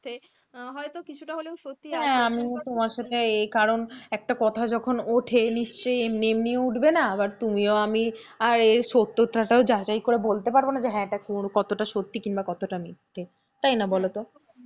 হ্যাঁ আমিও তোমার সাথে কারণ একটা কথা যখন ওঠে নিশ্চয়ই এমনি এমনি উঠবে না, আবার তুমিও আমিও আর এর সত্যতা তাও যাচাই করে বলতে পারব না যে হ্যাঁ এটা কতটা সত্যি কিংবা কতটা মিথ্যে, তাই না বলতো,